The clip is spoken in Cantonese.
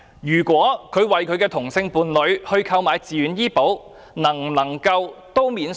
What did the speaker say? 任何人為他的同性伴侶購買自願醫保，能否獲得扣稅？